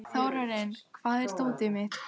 Þórarinn, hvar er dótið mitt?